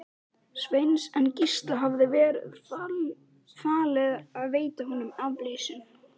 Sveins, en Gísla hafði verið falið að veita honum aflausn.